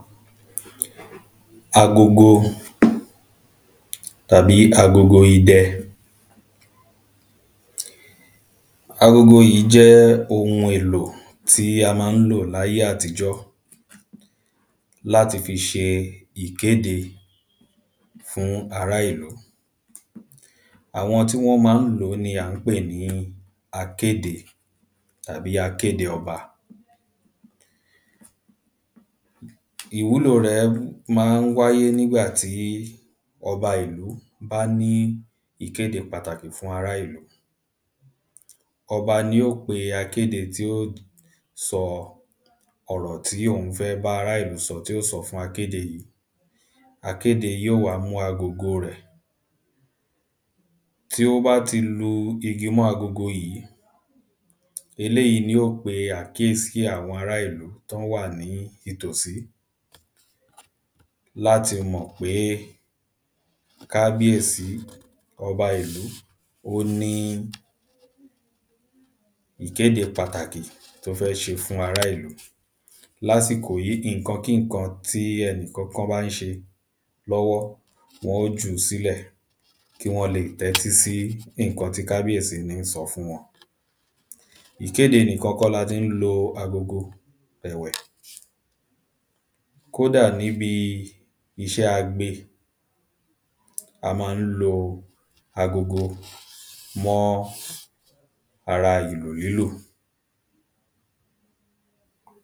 agogo tàbí agogo idẹ agogo yìí jẹ́ ohun èlò tí a máa ń lò láye àtijọ́ láti fi ṣe ikéde fún ará ìlú àwọn tí wọ́n máa ń lò ó ni à ń pè ní akéde tàbí akéde ọba ìwúlò rẹ̀ máa ń wáyé nígbà tí ọba ìlú bá ní ìkéde pàtàkì fún ará ìlú ọba ní o pe akéde tí o sọ ọ̀rọ̀ tí òun fẹ́ bá ará ìlú sọ tí ó sọ fún akéde yìí akéde yóò wá mú agogo rẹ̀ tí ó bá ti lu igi mọ́ agogo yìí eléyìí ní ó pe àkíèsí àwọn ará ìlú tán wà ní itòsí láti mọ̀ péé kábíèsí ọba ìlú ó níí Ìkéde pàtàkì tó fẹ́ ṣe fún ará ìlú lásìkò yìí nǹkankínǹkan tí ẹnì kankan bá ń ṣe lọ́wọ́ wọ́n ò jú sílẹ̀ kí wọ́n leè tẹ́tí sí nǹkan tí kábíèsí ní ń sọ fún wọn ìkéde nìkan kọ́ láti ń lo agogo ẹ̀wẹ̀ kódà níbi iṣẹ́ agbe a mọ́ọ ń lo agogo mọ́ọ́ ara ìlù lílù